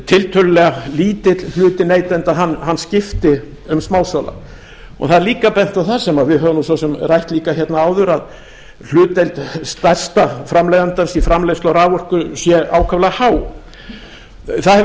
tiltölulega lítill hluti neytenda hann skiptir um smásala það er líka bent á það sem við höfum svo sem rætt líka hérna áður að hlutdeild stærsta framleiðandans í framleiðslu á raforku sé ákaflega há það hefur líka